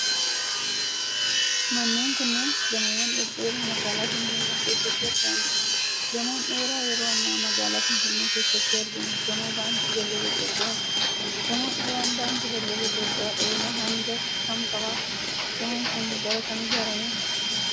Manneen kunneen, gamoowwan dhedheeroo magaalaa finfinnee keessatti argamanii dha. Gamoon dheeraa yeroo ammaa magaalaa finfinnee keessatti argamu, gamoo Baankii Daldala Itoophiyaati. Gamoon dheeraan Baankii Daldala Itoophiyaa dheerina hanga kam qaba? Gamoon kun, bara kam ijaarame?